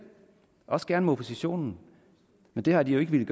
også gerne med oppositionen men det har de jo ikke villet